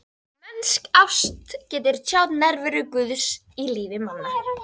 Mennsk ást getur tjáð nærveru Guðs í lífi manna.